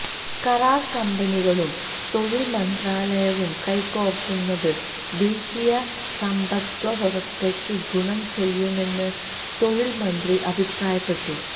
കരാര് കമ്പനികളും തൊഴില് മന്ത്രാലയവും കൈകോര്ക്കുന്നത് ദേശീയ സമ്പദ്വ്യവസ്ഥയ്ക്ക് ഗുണം ചെയ്യുമെന്ന് തൊഴില് മന്ത്രി അഭിപ്രായപ്പെട്ടു